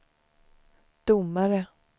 domare